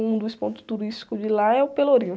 Um dos pontos turísticos de lá é o Pelourinho.